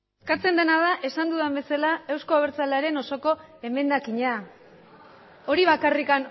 eskatzen dena da esan dudan bezala euzko abertzalearen osoko emendakina hori bakarrik